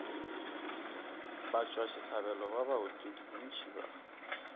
batšwasehlabelo ba baotledi bontši ba